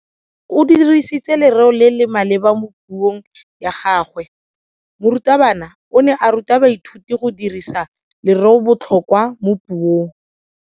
O dirisitse lereo le le maleba mo puong ya gagwe. Morutabana o ne a ruta baithuti go dirisa lereobotlhokwa mo puong.